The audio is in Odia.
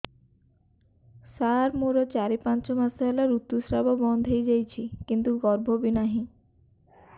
ସାର ମୋର ଚାରି ପାଞ୍ଚ ମାସ ହେଲା ଋତୁସ୍ରାବ ବନ୍ଦ ହେଇଯାଇଛି କିନ୍ତୁ ଗର୍ଭ ବି ନାହିଁ